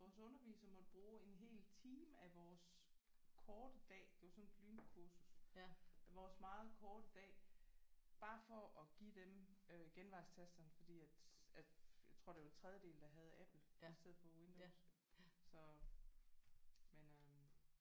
Vores underviser måtte bruge en hel time af vores korte dag det var sådan et lynkursus vores meget korte dag bare for at give dem øh genvejstasterne fordi at at jeg tror det var en tredjedel der havde Apple i stedet for Windows så